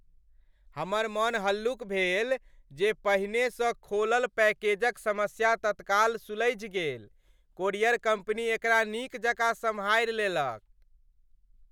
हमर मन हल्लुक भेल जे पहिनेसँ खोलल पैकेजक समस्या तत्काल सुलझि गेल। कोरियर कम्पनी एकरा नीक जकाँ सँभारि लेलक।